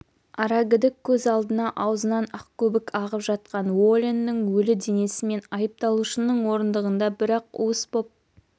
арагідік көз алдына аузынан ақкөбік ағып жатқан уоленнің өлі денесі мен айыпталушының орындығында бір-ақ уыс боп